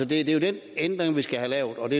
det er jo den ændring vi skal have lavet